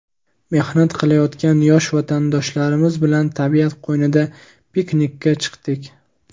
mehnat qilayotgan yosh vatandoshlarimiz bilan tabiat qo‘ynida piknikka chiqdik.